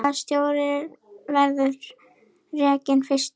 Hvaða stjóri verður rekinn fyrstur?